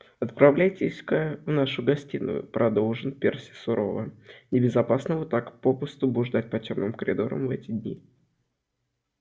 отправляйтесь-ка в вашу гостиную продолжил перси сурово небезопасно вот так попусту блуждать по тёмным коридорам в эти дни